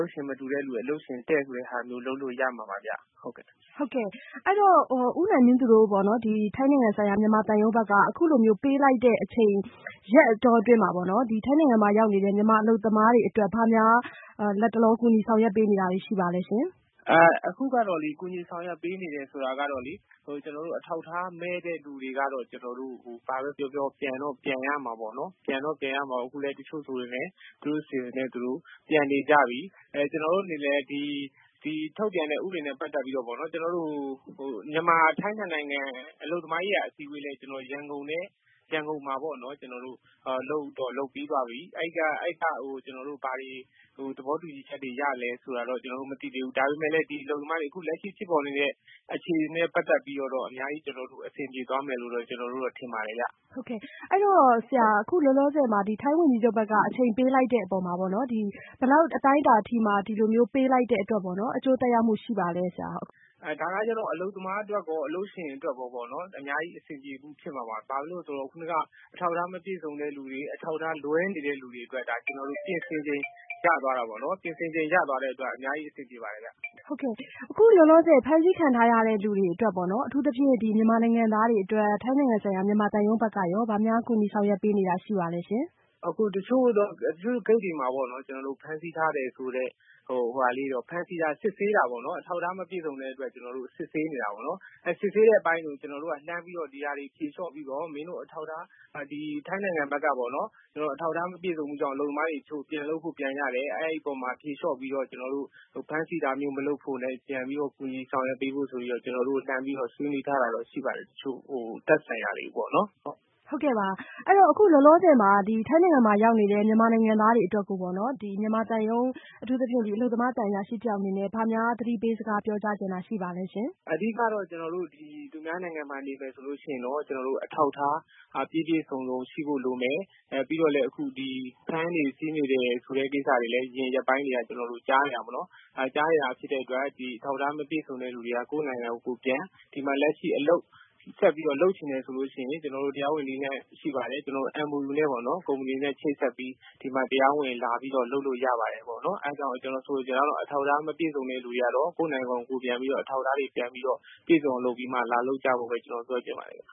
ုပ်ရှင်မတူသူတွေ အလုပ်ရှင် တည့် ဆိုတဲ့ ဟာမျိုး လုပ်လို့ရမှာပါဗျ။ ဟုတ်ကဲ့။ အဲ့ဒီ့တော့ ဦးနိုင်မင်းသူတို့ ထိုင်းနိုင်ငံဆိုင်ရာ မြန်မာသံရုံးဘက်က အခုလိုမျိုးပေးလိုက်တဲ့အချိန် ရက်အတောအတွင်းမှာပေါ့နော် ထိုင်းနိုင်ငံမှာရောက်နေတဲ့မြန်မာအလုပ်သမားတွေအတွက် ဘာများ လတ်တလော ကူညီဆောင်ရွက်ပေးနေတာတွေရှိပါလဲရှင်။ ဟုတ်ကဲ့ ကျနော်တို့ အခုကူညီဆောင်ရွက်ပေးနေတဲ့ဆိုတာကလေ အထောက်အထားမဲ့တဲ့သူတွေကတော့ ဘာပဲပြောပြော ပြန်တော့ပြန်ရမှာပေါ့နော်။ အခုဆိုရင် တချို့ဆို သူတို့အစီအစဉ်နဲ့သူတို့ ပြန်နေကြပြီ။ ကျနော်တို့အနေနဲ့ ဒီထုတ်ပြန်တဲ့ဥပဒေနဲ့ပတ်သက်ပြီး မြန်မာ-ထိုင်းနှစ်နိုင်ငံ အလုပ်သမားရေးရာအစည်းအဝေး ရန်ကုန်မှာပေါ့နော် လုပ်ပြီးပါပြီ အဲ့ကနေ ဘာတွေ သဘောတူညီချက်တွေ ရသလဲဆိုတာတော့ ကျနော်တို့မသိသေးဘူး။ ဒါပေမဲ့လည်း ဒီအလုပ်သမားတွေ လက်ရှိဖြစ်ပေါ်နေတဲ့ အခြေအနေနဲ့ပတ်သက်ပြီးတော့ အများကြီးအဆင်ပြေသွားမယ်လို့တော့ ကျနော်တို့တော့ ထင်ပါတယ်ဗျ။ ဟုတ်ကဲ့ အဲ့ဒီ့တော့ အခုလို ထိုင်းဝန်ကြီးချုပ်ဘက်က အချိန်ပေးလိုက်တဲ့အပေါ်မှာ ဘယ်လောက်အတိုင်းအတာအထိမှ ဒီလိုမျိုး အချိန်ပေးလိုက်တဲ့အပေါ် အကျိုးသက်ရောက်မှုရှိပါလဲရှင့်။ ဒါကတော့ အလုပ်သမားအတွက်ရော အလုပ်ရှင်အတွက်ရော အများကြီးအဆင်ပြေမှုဖြစ်မှာပါ။ ဘာဖြစ်လို့လဲဆိုတော့ ခုနက အထောက်အထားမပြည့်စုံတဲ့သူတွေ အထောက်အထားလွဲနေတဲ့သူတွေအတွက် ပြင်ဆင်ချိန် ရသွားတာပေါ့နော် ပြင်ဆင်ချိန် ရသွားတဲ့အတွက် အများကြီးအဆင်ပြေမှာပါခင်ဗျ။ အခုလောလောဆယ် ဖမ်းဆီးခံထားရတဲ့သူတွေအတွက် အထူးသဖြင့် မြန်မာနိုင်ငံသားတွေအတွက် ထိုင်းနိုင်ငံဆိုင်ရာ မြန်မာသံရုံးဘက်က ဘာများကူညီဆောင်ရွက်ပေးနေတာရှိပါလဲရှင်။ ဟုတ်ကဲ့ တချို့ဂိတ်တွေမှာ ဖမ်းဆီးထားတယ်ဆိုတဲ့ သူတွေကို အထောက်အထားမပြည့်စုံတဲ့အတွက် စစ်ဆေးနေတာပေါ့နော်။ စစ်ဆေးနေတဲ့အပိုင်းကို ကျနော်တို့က လှမ်းပြီးတော့ ဒီဟာတွေကို ဖြေလျော့ပြီးတော့ ထိုင်းနိုင်ငံဘက်က အလုပ်သမားတွေ အထောက်အထားမပြည့်စုံလို့ ပြန်လုပ်ဖို့ ပြန်ကြတယ်။ အဲ့ဓီ့အပေါ်မှာ ဖြေလျော့ပြီးတော့ ကျနော်တို့ ဖမ်းဆီးတာမျိုး မလုပ်ဖို့နဲ့ ပြန်ပြီးတော့ ကူညီဆောင်ရွက်ပေးဖို့ ကျနော်တို့ လှမ်းပြီးတော့ ဆွေးနွေးထားတာရှိပါတယ် တချို့သက်ဆိုင်ရာတွေကိုပေါ့နော် ဟုတ်ကဲ့။ ဟုတ်ကဲ့ လောလောဆယ်မှာ ထိုင်းနိုင်ငံမှာရောက်နေတဲ့ မြန်မာနိုင်ငံသားတွေကိုပေါ့နော် မြန်မာသံရုံး အထူးသဖြင့် အလုပ်သမားသံအရာရှိတယောက်အနေနဲ့ ဘာများသတိပေးစကားပြောကြားချင်တာရှိပါသလဲရှင်။ အဓိကကတော့ ကျနော်တို့ သူများနိုင်ငံမှာ နေမယ်ဆိုရင်တော့ အထောက်အထား ပြည့်ပြည့်စုံစုံ ရှိဖို့လိုမယ်။ ပြီးတော့လည်း အခုဖမ်းတယ်ဆီးတယ်ဆိုတဲ့ကိစ္စတွေကိုလည်း အရင်ရက်ပိုင်းတွေက ကျနော်တို့ ကြားနေရတာပေါ့နော် အဲ့လိုကြားနေရတာဖြစ်တဲ့အတွက် အထောက်အထားမပြည့်စုံတဲ့သူတွေကတော့ ကိုယ့်နိုင်ငံကို ကိုယ်ပြန် ။ ဒီမှာ အလုပ်ဆက်လုပ်ချင်တယ်ဆိုရင် ကျနော်တို့ တရားဝင်နည်းလမ်း ရှိပါတယ်။ MOU နဲ့ပေါ့နော် ကုမ္မဏီတေ့နဲ့ ချိတ်ဆက်ပြီး ဒီမှာ တရားဝင် လာလုပ်လို့ရပါတယ်။ အဲ့ဒီ့တော့ ကျနော်ဆိုလိုချင်တာကတော့ အထောက်အထားမပြည့်စုံတဲ့သူတွေကတော့ ကိုယ့်နိုင်ငံကို ကိုယ်ပြန်ပြီးတော့ အထောက်အထားတွေ ပြန်ပြီးတော့ ပြည့်စုံအောင် လုပ်ပြီးမှ လာလုပ်ကြဖို့ ကျနော်ပြောချင်ပါတယ်